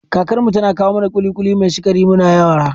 Kakar mu tana kawo mana ƙuli-ƙuli mai sikari muna yara